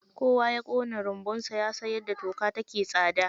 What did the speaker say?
kowa yakona runbunsa yasan yadda toka take tsada.